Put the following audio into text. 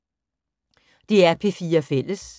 DR P4 Fælles